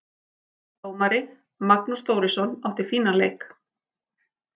Dómari: Magnús Þórisson, átti fínan leik.